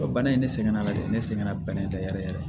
Bana in ne sɛgɛnna dɛ ne sɛgɛnna bɛnnɛ yɛrɛ yɛrɛ